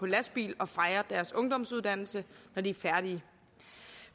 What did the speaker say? lastbil og fejre deres ungdomsuddannelse når de er færdige